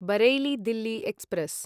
Bareilly Delhi express